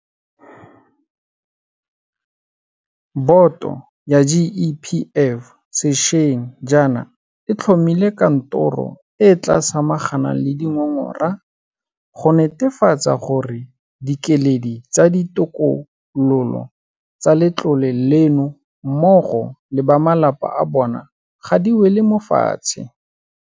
Boto ya GEPF sešweng jaana e tlhomile kantoro e e tla samaganang le dingongora go netefatsa gore dikeledi tsa ditokololo tsa letlole leno mmogo le ba malapa a bona ga di wele mo fatshe.